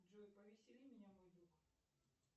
джой повесели меня мой друг